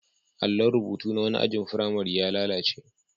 Allon rubutu na wani ajin firamare ya lalace.